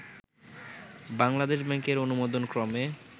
বাংলাদেশ ব্যাংকের অনুমোদনক্রমে